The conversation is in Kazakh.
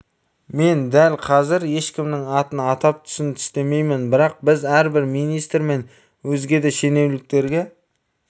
мен дәл қазір ешкімнің атын атап түсін түстемеймін бірақ біз әрбір министр мен өзге де шенеуніктерге